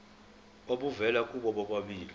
obuvela kubo bobabili